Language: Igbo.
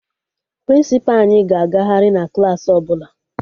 Prịnsịpa anyị ga-agagharị na Klassị ọbụla